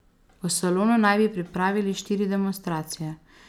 V Solunu naj bi pripravili štiri demonstracije.